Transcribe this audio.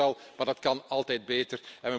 Dat gebeurt al maar dat kan altijd beter.